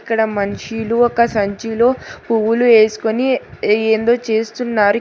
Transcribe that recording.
ఇక్కడ మనిషీలు ఒక సంచిలో పువ్వులు వేసుకొని ఏ ఏందో చేస్తున్నారు.